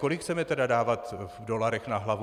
Kolik chceme tedy dávat v dolarech na hlavu?